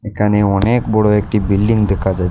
এখানে অনেক বড় একটি বিল্ডিং দেখা যায়।